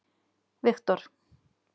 Viktor